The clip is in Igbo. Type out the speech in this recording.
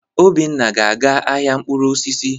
Obinna ga-aga ahịa mkpụrụ osisi.